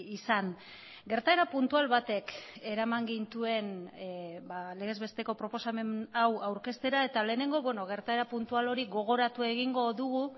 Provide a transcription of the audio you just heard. izan gertaera puntual batek eraman gintuen legez besteko proposamen hau aurkeztera eta lehenengo gertaera puntual hori gogoratu egingo dugu